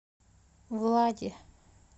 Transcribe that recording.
влади